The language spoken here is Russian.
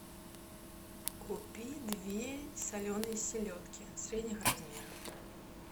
купи две соленые селедки средних размеров